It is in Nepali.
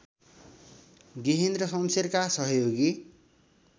गेहेन्द्र शमशेरका सहयोगी